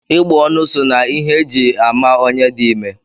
Ịgbọonu so na ihe e ji ama onye di ime